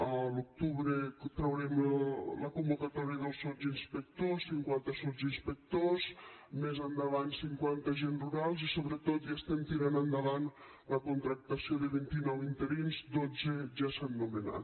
a l’octubre traurem la convocatòria dels sotsinspectors cinquanta sotsinspectors més endavant cinquanta agents rurals i sobretot ja estem tirant endavant la contractació de vint i nou interins dotze ja s’han nomenat